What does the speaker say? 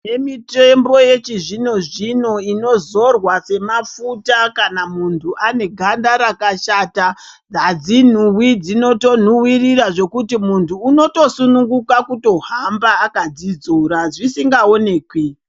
Tine mitombo yechizvino zvino inozorwa semafuta kana muntu ane ganda rakashata, adzinhuwi dzinotonhuwirora zvekuti muntu unoto sununguka kutohamba akadzidzora zvisingaonekwi.